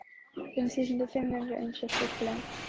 Fimm þúsund og fimm hundruð eins og fuglinn.